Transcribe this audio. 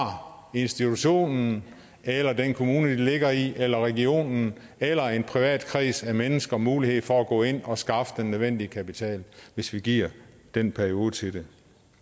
institutionen eller den kommune den ligger i eller regionen eller en privat kreds af mennesker mulighed for at gå ind og skaffe den nødvendige kapital hvis vi giver den periode til det